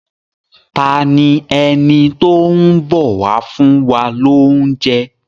Ta ni ẹni tó ń bọ̀ wá fún wa lóúnjẹ.?